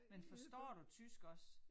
Men forstår du tysk også?